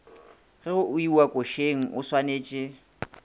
ge go iwa košeng oswanetše